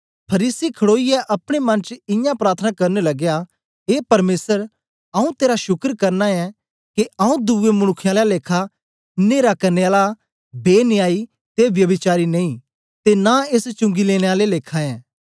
फरीसी खडोईयै अपने मन च इयां प्रार्थना करन लगया ए परमेसर आऊँ तेरा शुकर करना ऐं के आऊँ दुवे मनुक्खें आला लेखा न्हेरा करने आला बेन्यायी ते व्यभिचारी नेई ते नां एस चुंगी लेने आले आला लेखा ऐं